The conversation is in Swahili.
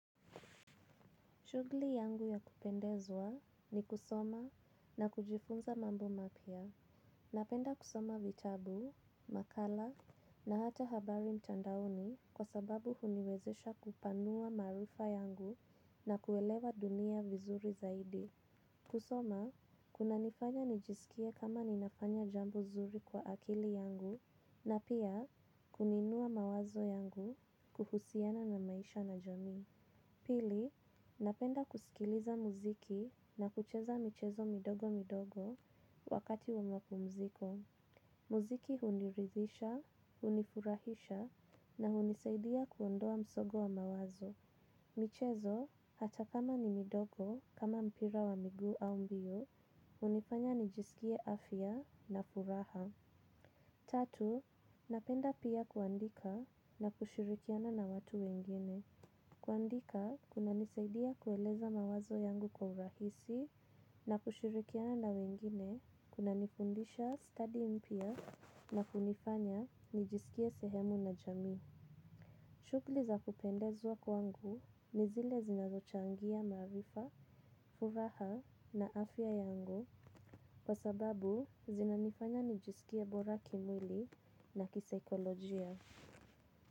Shughuli yangu ya kupendezwa ni kusoma na kujifunza mambo mapya. Napenda kusoma vitabu, makala na hata habari mtandaoni kwa sababu huniwezesha kupanua maarifa yangu na kuelewa dunia vizuri zaidi. Kusoma, kunanifanya nijisikie kama ninafanya jambo zuri kwa akili yangu na pia kuniinua mawazo yangu kuhusiana na maisha na jamii. Pili, napenda kusikiliza muziki na kucheza michezo midogo midogo wakati wa mapumziko. Muziki huniridhisha, hunifurahisha na hunisaidia kuondoa msongo wa mawazo. Michezo, hata kama ni midogo, kama mpira wa miguu au mbio, hunifanya nijisikie afya na furaha. Tatu, napenda pia kuandika na kushirikiana na watu wengine. Kuandika kunanisaidia kueleza mawazo yangu kwa urahisi na kushirikiana na wengine kunanifundisha study mpya na kunifanya nijisikie sehemu la jamii. Shughuli za kupendezwa kwangu ni zile zinazochangia maarifa, furaha na afya yangu kwa sababu zinanifanya nijisikie bora kimwili na kisaikolojia.